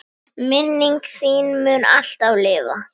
Minning þín mun alltaf lifa.